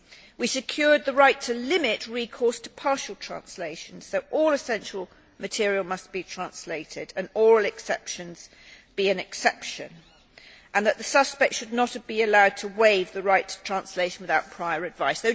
We secured the right to limit recourse to partial translation, so all essential material must be translated and oral exceptions must indeed be exceptions, and that the suspect should not be allowed to waive the right to translation without prior advice.